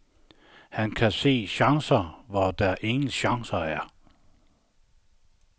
Han kan se chancer, hvor der ingen chancer er.